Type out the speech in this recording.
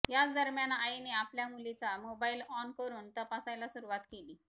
याच दरम्यान आईने आपल्या मुलीचा मोबाईल ऑन करून तपासायला सुरुवात केली